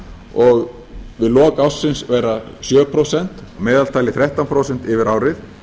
og við lok ársins verða sjö prósent að meðaltali þrettán prósentum yfir árið